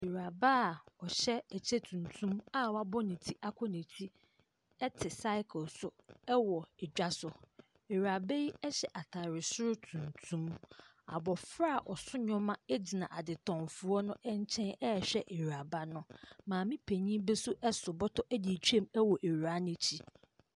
Awuraba a ɔhyɛ kyɛ tuntum a wabɔ ne ti akɔ n'akyi te sakre so wɔ dwa so. Awuraba yi hyɛ atare soro tuntum. Abɔfra a ɔso nneɛma gyina adetɔnfoɔ no nkyɛn rehwɛ awuraba no. Maame panin bi nso so bɔtɔ de retwam wɔ awuraa no akyi.